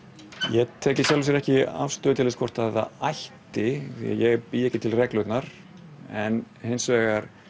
ég tek ekki afstöðu til þess hvort það ætti ég bý ekki til reglurnar hins vegar